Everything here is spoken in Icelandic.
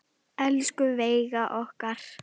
Elsku Veiga okkar.